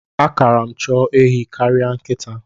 A kara m chọọ ehi karịa nkịta.